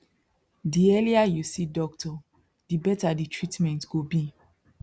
the earlier you see doctor the better the treatment go be